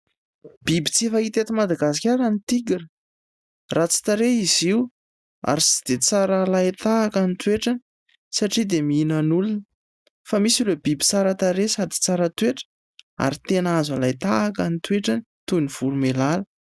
Biby tsy fahita eto Madagasikara ny Tigra. Ratsy tarehy izy io ary tsy dia tsara alain-tahaka ny toetrany satria dia mihinan'olona. Fa misy ireo biby tsara tarehy sady tsara toetra, ary tena azo alain-tahaka ny toetrany, toy ny voromailala.